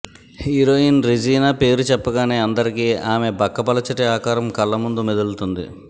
heroine Regina పేరు చెప్పగానే అందరికి ఆమె బక్కపలచటి ఆకారం కళ్ళముందు మెదులుతుంది